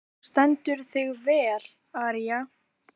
Þú stendur þig vel, Aría!